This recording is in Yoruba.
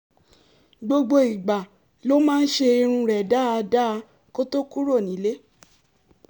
gbogbo ìgbà ló máa ń ṣe irun rẹ̀ dáadáa kó tó kúrò nílé